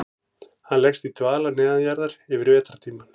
Hann leggst í dvala neðanjarðar yfir vetrartímann.